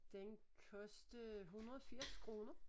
Den kostede 180 koner